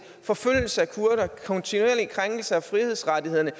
forfølgelse af kurdere kontinuerlige krænkelser af frihedsrettighederne